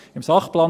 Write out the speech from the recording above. Im Sachplan